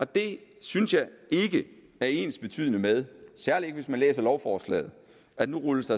det synes jeg ikke er ensbetydende med især ikke hvis man læser lovforslaget at der rulles